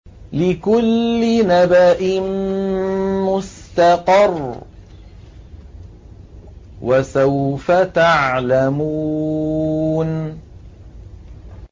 لِّكُلِّ نَبَإٍ مُّسْتَقَرٌّ ۚ وَسَوْفَ تَعْلَمُونَ